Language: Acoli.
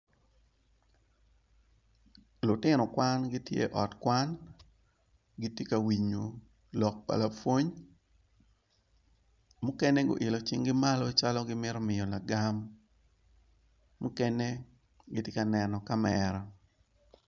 Lutino kwan gitye i ot kwan gitye ka winyo lok pa lapwony mukene guilo cing-gi malo calo gimito miyo lagam mukene gitye ka neno kamera